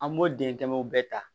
An b'o dentɛmɛw bɛɛ ta